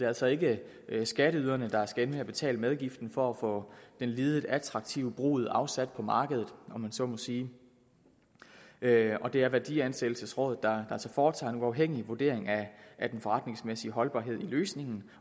altså ikke skatteyderne der skal ende med at betale medgiften for at få den lidet attraktive brud afsat på markedet om man så må sige det er værdiansættelsesrådet der altså foretager en uafhængig vurdering af den forretningsmæssige holdbarhed i løsningen